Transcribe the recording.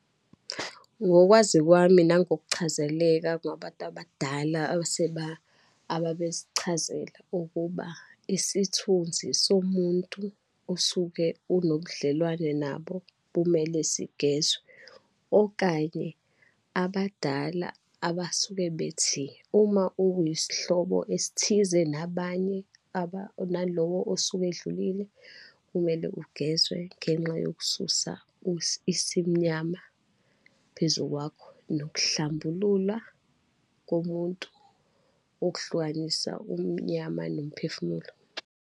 Ngokwazi kwami nangokuchazeleka ngabantu abadala ababesichazela ukuba, isithunzi somuntu osuke unobudlelwane nabo, bumele sigezwa. Okanye abadala abasuke bethi, uma uyisihlobo esithize nabanye, aba, nalowo osuke edlulile, kumele ugezwe ngenxa yokususa isimnyama phezu kwakho, nokuhlambululwa komuntu, okuhlukanisa umnyama nomphefumulo.